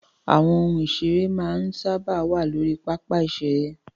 Àwọn ohun ìseré máa ń sáábà wà lórí pápá ìseré